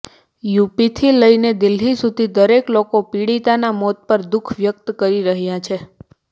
યૂપીથી લઈને દિલ્હી સુધી દરેક લોકો પીડિતાના મોત પર દુખ વ્યક્ત કરી રહ્યા છે